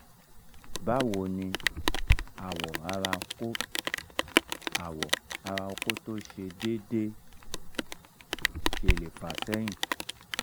bawo ni awo ara oko awo ara oko to se dede sele fa sehin?